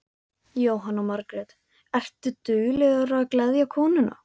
Jóhanna Margrét: Ertu duglegur að gleðja konuna?